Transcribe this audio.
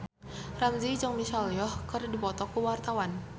Ramzy jeung Michelle Yeoh keur dipoto ku wartawan